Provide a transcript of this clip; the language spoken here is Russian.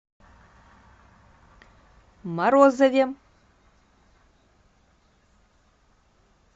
морозове